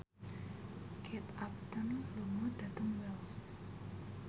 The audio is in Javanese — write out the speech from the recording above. Kate Upton lunga dhateng Wells